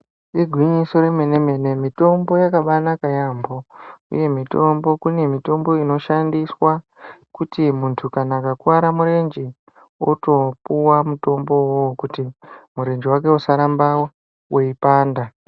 Igwinyiso remene mitombo yakabaanaka kwemene. Kune mitombo inoshandiswa kuti kana muntu akakuware murenje otopuwa mitombo uwowo kuti murenje wake usarambe weipanda.